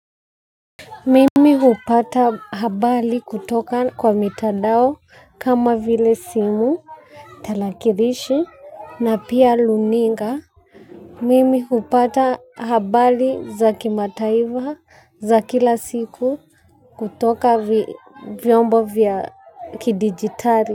Mimi hupata habali kutoka kwa mitadao kama vile simu, talakirishi na pia luninga. Mimi hupata habali za kimataiva za kila siku kutoka vyombo vya kidigitari.